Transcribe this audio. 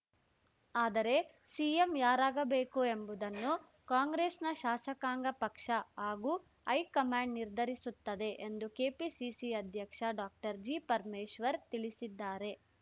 ಆದರೆ ಸಿಎಂ ಯಾರಾಗಬೇಕು ಎಂಬುದನ್ನು ಕಾಂಗ್ರೆಸ್‌ನ ಶಾಸಕಾಂಗ ಪಕ್ಷ ಹಾಗೂ ಹೈಕಮಾಂಡ್‌ ನಿರ್ಧರಿಸುತ್ತದೆ ಎಂದು ಕೆಪಿಸಿಸಿ ಅಧ್ಯಕ್ಷ ಡಾಕ್ಟರ್ ಜಿಪರಮೇಶ್ವರ್‌ ತಿಳಿಸಿದ್ದಾರೆ